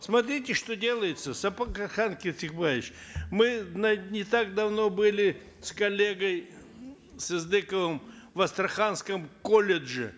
смотрите что делается кесикбаевич мы не так давно были с коллегой сыздыковым в астраханском колледже